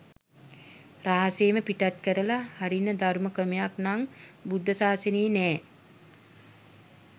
රහසේම පිටත් කරල හරින ධර්ම ක්‍රමයක් නම් බුද්ධ ශාසනයේ නෑ.